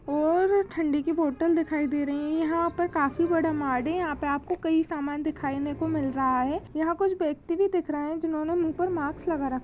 ओर ठंडी की बोतल दिखाई दे रही यहाँ पे काफी बड़ा मार्ड है यहाँ आपको कई समान दिखाई ने को मिल रहा है यहाँ कुछ व्यक्ति भी दिख रहे है जिन्होंने मुंह पर माक्स लगा--